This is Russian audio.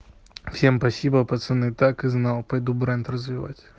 всем спасибо пацаны так и знал пойду бренд развивать